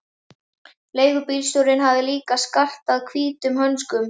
Leigubílstjórinn hafði líka skartað hvítum hönskum.